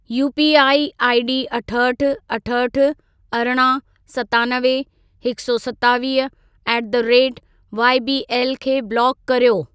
UPI ID अठहठि, अठहठि, अरिड़हं, सतानवे, हिकु सौ सतावीह ऍट द रेट वाईबीएल खे ब्लॉक कर्यो।